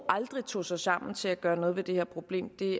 aldrig tog sig sammen til at gøre noget ved det her problem